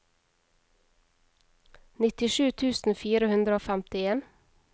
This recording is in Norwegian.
nittisju tusen fire hundre og femtien